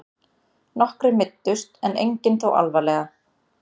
Nokkrir meiddust en engir þó alvarlega